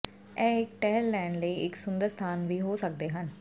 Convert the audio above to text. ਉਹ ਇੱਕ ਟਹਿਲ ਲੈਣ ਲਈ ਇੱਕ ਸੁੰਦਰ ਸਥਾਨ ਵੀ ਹੋ ਸਕਦੇ ਹਨ